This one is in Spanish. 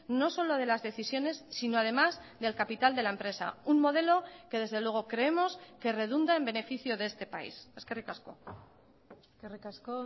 no solo de las decisiones sino además del capital de la empresa un modelo que desde luego creemos que redunda en beneficio de este país eskerrik asko eskerrik asko